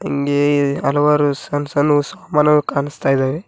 ಹಿಂಗೆ ಹಲವಾರು ಸಣ್ಣ ಸಣ್ಣವು ಸಾಮಾನುಗಳು ಕಾಣಿಸ್ತಾ ಇದಾವೆ.